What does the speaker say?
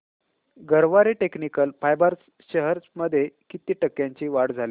Garware technical fibres shares मध्ये किती टक्क्यांची वाढ झाली